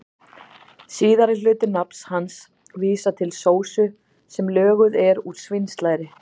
Síðari hluti nafns hans vísar til sósu sem löguð er úr svínslæri.